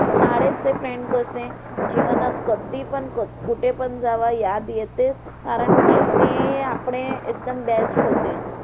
शाळेचे friends कसे जीवनात कधी पण कुठे जावा येतेच. कारण कि ते आपले एकदम best होते.